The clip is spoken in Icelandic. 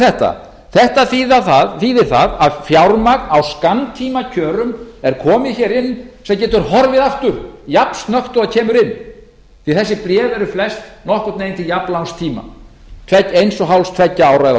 þetta þetta þýðir það að fjármagn á skammtímakjörum er komið inn sem getur horfið aftur jafnsnöggt og það kemur inn því að þessi bréf eru flest til nokkurn veginn jafnlangs eiga eins og hálfs tveggja ára eða